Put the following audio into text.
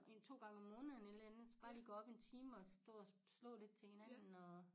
1 2 gange om måneden et eller andet bare lige gå op en time og stå og slå lidt til hinanden og